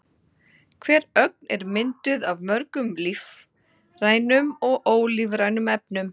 Hver ögn er mynduð af mörgum lífrænum og ólífrænum efnum.